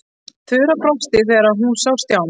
Þura brosti þegar hún sá Stjána.